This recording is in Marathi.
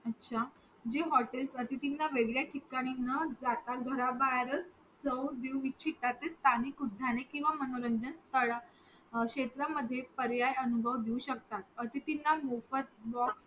अच्छा जी हॉटेलस अतिथि वेगळ्या ठिकाणी न जाता घरा बाहेरचं चव देऊ इच्छितात स्थानिक उद्याने किंवा मनोरंजन स्थळं क्षेत्रामध्ये पर्याय अनुभव घेऊ शेकतात अतिथींना मोफत